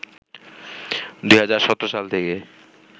২০১৭ সাল থেকে